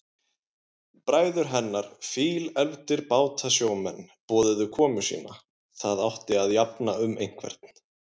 Bræður hennar, fílefldir bátasjómenn, boðuðu komu sína, það átti að jafna um einhvern.